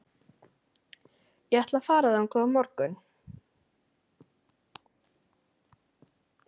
Ég ætla að fara þangað á morgun.